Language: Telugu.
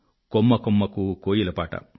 కొమ్మ కొమ్మకూ కోయిలపాట